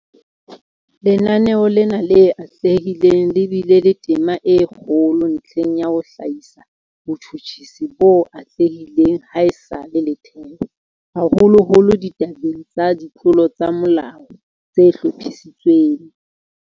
Lenaneo lena le atlehileng le bile le tema e kgolo ntlheng ya ho hlahisa botjhutjhisi bo atlehileng ha esale le thewa, haholoholo ditabeng tsa ditlolo tsa molao tse hlophisitsweng.